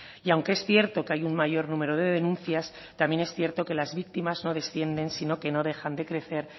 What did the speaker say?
y aunque es cierto que hay un mayor número de denuncias también es cierto que las víctimas no descienden sino que no dejan de crecer